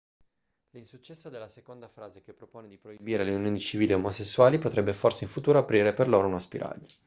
l'insuccesso della seconda frase che propone di proibire le unioni civili omosessuali potrebbe forse in futuro aprire per loro uno spiraglio